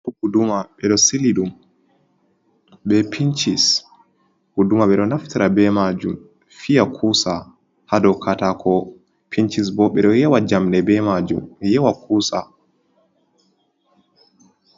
Guduma ɓe ɗo sili ɗum be pinchis. Guduma ɓe ɗo naftira be majum fiya kuusa ha dou katako. Pinchis bo ɓe ɗo yewa jamɗe be majum, ɓe yewa kuusa.